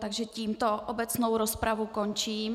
Takže tímto obecnou rozpravu končím.